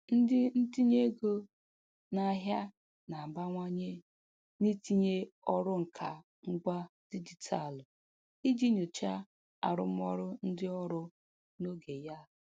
Ndị ntinye ego n'ahịa na-abawanye n'itinye ọrụ nka ngwa dijitalụ iji nyochaa arụmọrụ ndị ọrụ n'oge ya.